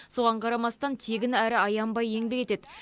соған қарамастан тегін әрі аянбай еңбек етеді